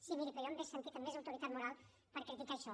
sí miri però jo m’hauria sentit amb més autoritat moral per criticar això